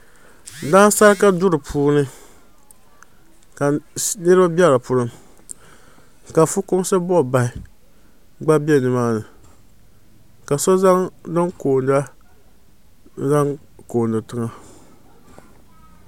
Dansarika duu puuni la niriba be dipuuni ka fukumsi buɣubahi gba be nimaani ka so zaŋ din koona n zaŋ kooni tiŋa.